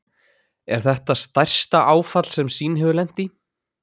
Er þetta stærsta áfall sem Sýn hefur lent í?